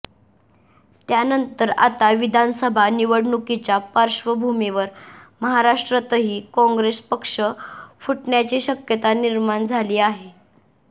त्यानंतर आता विधानसभा निवडणुकीच्या पार्श्वभूमीवर महाराष्ट्रातही काँग्रेस पक्ष फुटण्याची शक्यता निर्माण झाली आहे